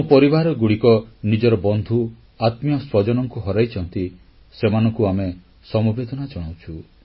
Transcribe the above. ଯେଉଁ ପରିବାରଗୁଡ଼ିକ ନିଜ ବନ୍ଧୁ ଆତ୍ମୀୟସ୍ୱଜନଙ୍କୁ ହରାଇଛନ୍ତି ସେମାନଙ୍କୁ ଆମେ ସମବେଦନା ଜଣାଉଛୁ